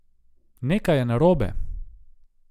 Nekaj je narobe!